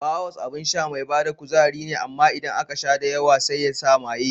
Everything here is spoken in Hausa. Power Horse abin sha mai bada kuzari ne amma idan aka sha da yawa sai yasa maye.